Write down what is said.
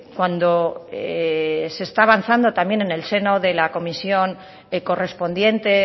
cuando se está avanzando también en el seno de la comisión correspondiente